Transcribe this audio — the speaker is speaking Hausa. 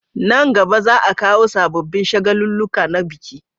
Nan gaba za a kawo sabobin shagaluluka na biki